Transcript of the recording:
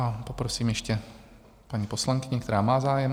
A poprosím ještě paní poslankyni, která má zájem.